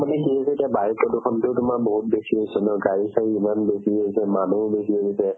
মানে কি হৈছে এতিয়া বায়ু প্ৰদূণতো তোমাৰ বহুত বেছি হৈছে ন গাড়ী-চাড়ী ইমান বেছি হৈছে মানুহো বেছি হৈ গৈছে